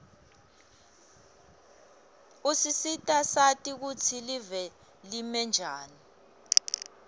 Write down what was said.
usisita sati kutsi live limenjani